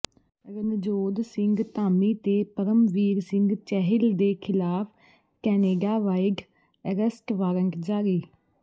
ਰਣਜੋਧ ਸਿੰਘ ਧਾਮੀ ਤੇ ਪਰਮਵੀਰ ਸਿੰਘ ਚਹਿਲ ਦੇ ਖਿਲਾਫਕੈਨੇਡਾਵਾਈਡਅਰੈਸਟਵਾਰੰਟਜਾਰੀ